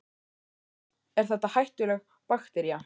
Sölvi: Er þetta hættuleg baktería?